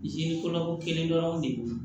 zenerabu kelen dɔrɔn de do